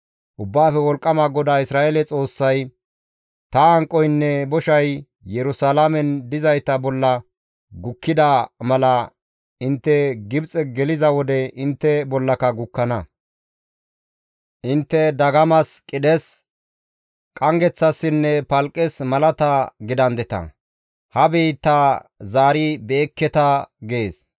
«Ubbaafe Wolqqama GODAA Isra7eele Xoossay, ‹Ta hanqoynne boshay Yerusalaamen dizayta bolla gukkida mala intte Gibxe geliza wode intte bollaka gukkana; intte dagamas, qidhes, qanggeththassinne palqqes malata gidandeta; ha biittaa zaari be7ekketa› gees.